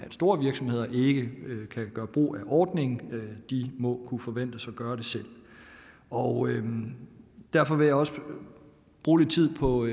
at store virksomheder ikke kan gøre brug af ordningen de må kunne forventes at gøre det selv og derfor vil jeg også bruge lidt tid på